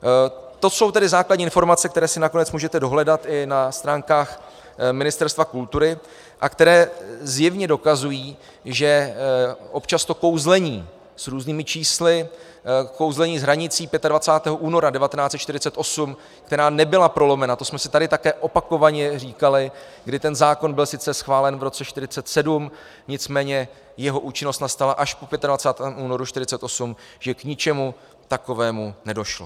To jsou tedy základní informace, které si nakonec můžete dohledat i na stránkách Ministerstva kultury a které zjevně dokazují, že občas to kouzlení s různými čísly, kouzlení s hranicí 25. února 1948, která nebyla prolomena, to jsme si tady také opakovaně říkali, kdy ten zákon byl sice schválen v roce 1947, nicméně jeho účinnost nastala až po 25. únoru 1948, že k ničemu takovému nedošlo.